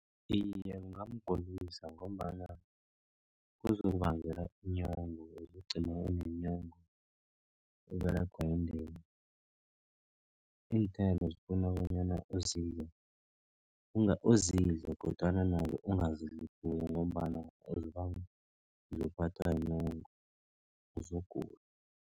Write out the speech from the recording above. Iye, kungamgulisa ngombana kuzokubangela inyongo. Uzokugcina unenyongo Uberegwa yindeni. Iinthelo zifuna bonyana uzidle kodwana nazo ungazidli khulu. Ngombana uzokuphathwa yinyongo uzokugula.